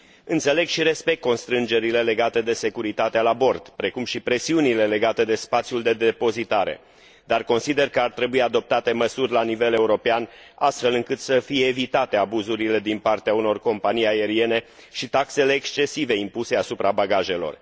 Înțeleg și respect constrângerile legate de securitatea la bord, precum și presiunile legate de spațiul de depozitare, dar consider că ar trebui adoptate măsuri la nivel european, astfel încât să fie evitate abuzurile din partea unor companii aeriene și taxele excesive impuse asupra bagajelor.